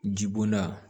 Jibonda